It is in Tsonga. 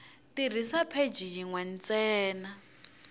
tirhisa pheji yin we ntsena